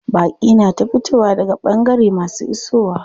Baƙi na ta fitowa daga ɓangare masu isowa.